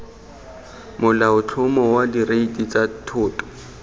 molaotlhomo wa direiti tsa thoto